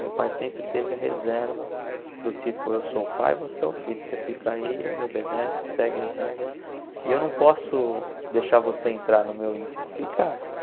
Meu pai sempre teve a reserva do tipo, eu sou o pai, você é o filho, você fica aí, me obedece, segue as regras e eu não posso deixar você entrar no meu íntimo. Fica